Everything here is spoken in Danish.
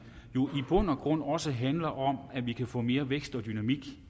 jo i bund og grund også handler om at vi kan få noget mere vækst og dynamik